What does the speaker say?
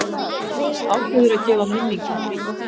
Ákveður að gefa minningum frí.